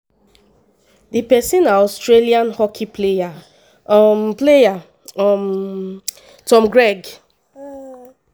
di pesin na australian hockey player um player um tom craig.